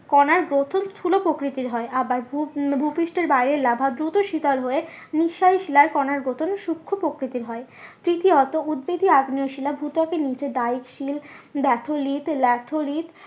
কোনার গঠন স্থুল প্রকৃতির হয় আবার ভূ উম ভুপৃষ্ঠের বাইরে লাভা দূত শীতল হয়ে নিঃসারী শিলার কোনার গঠন সুক্ষ প্রকৃতির হয়। তৃতীয়ত উদবেধী আগ্নেয় শিলা ভূত্বকের নিচে